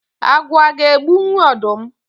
Agwọ aga egbunwu ọdụm?